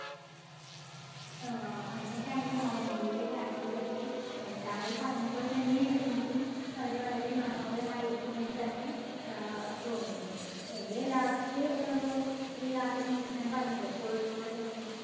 ആ, അങ്ങനെയൊക്കെ ആണെങ്കിൽ മലമ്പുഴയിലെ കാഴ്ചകളൊക്കെ അഹ് താങ്കൾ പറഞ്ഞപ്പോൾ തന്നെ എനിക്ക് അവിടെ വളരെ മനോഹരമായിരിക്കും എന്ന് തന്നെ ആഹ് തോന്നുന്നു. എൻറെ last ആഹ് യാത്ര എന്ന് വെച്ചാൽ ഞാൻ പറഞ്ഞില്ലേ കോഴിക്കോട് തന്നെ